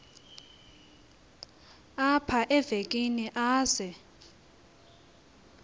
apha evekini aze